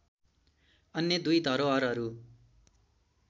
अन्य दुई धरोहरहरू